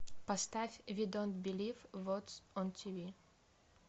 поставь ви донт белив вотс он тиви